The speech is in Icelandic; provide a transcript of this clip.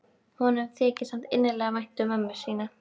Honum þykir samt innilega vænt um mömmu sína.